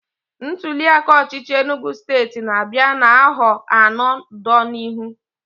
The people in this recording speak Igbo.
ntuliaka ọchịchị Enugu state n'abia n'aho ano do n'ihu